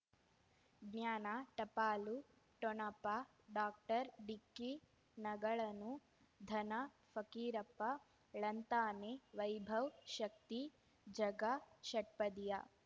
ಜ್ಞಾನ ಟಪಾಲು ಠೊಣಪ ಡಾಕ್ಟರ್ ಢಿಕ್ಕಿ ಣಗಳನು ಧನ ಫಕೀರಪ್ಪ ಳಂತಾನೆ ವೈಭವ್ ಶಕ್ತಿ ಝಗಾ ಷಟ್ಪದಿಯ